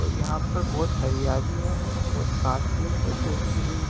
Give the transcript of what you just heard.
और यहां पर बहोत हरियाली है बहोत घास फुस है सुखी हुई।